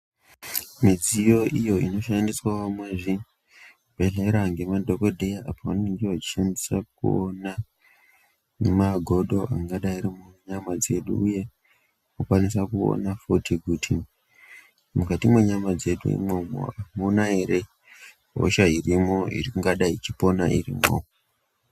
Midziyo iyo inoshandiswa muzvibhehleya ngemadhokodheya apo vanenge vachishandisa kuona magodo angadai ari munyama dzedu, uye vakwanise kuona he kuti mukati mwenyama dzedu imwomwo amuna ere imwe hosha ingadai yeipona irimwo.